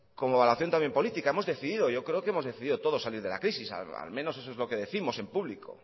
como acción también política hemos decidido yo creo que hemos decidido todos salir de la crisis al menos eso es lo que décimos en público